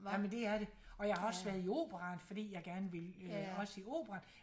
Jamen dét er det og jeg har også været i operaen fordi jeg gerne ville øh også i operaen